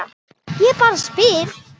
Ég bara spyr.